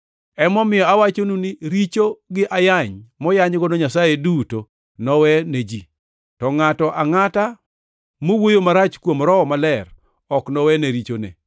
Emomiyo awachonu ni richo gi ayany moyanygo Nyasaye duto nowe ne ji, to ngʼato angʼata mowuoyo marach kuom Roho Maler ok nowene richone.